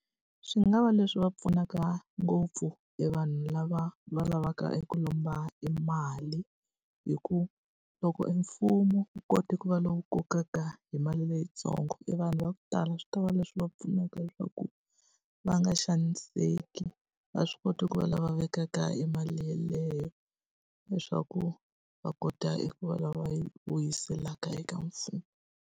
Swi nga va leswi va pfunaka ngopfu e vanhu lava va lavaka eku lomba e mali. Hi ku loko e mfumo wu kota ku va lowu kokaka hi mali leyintsongo e vanhu va ku tala a swi ta va leswi va pfunaka leswaku va nga xaniseki, va swi kota ku va lava vekaka e mali yeleyo leswaku va kota eku va lava va yi vuyiseleka eka mfumo.